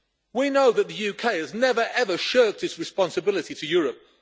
We know that the UK has never, ever shirked its responsibility to Europe.